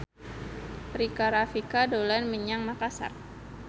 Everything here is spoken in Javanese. Rika Rafika dolan menyang Makasar